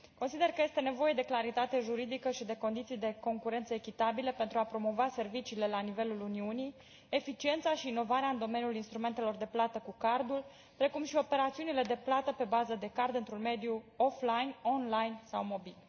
Consider că este nevoie de claritate juridică și de condiții de concurență echitabilă pentru a promova serviciile la nivelul Uniunii, eficiența și inovarea în domeniul instrumentelor de plată cu cardul, precum și operațiunile de plată pe bază de card într un mediu offline, online sau mobil.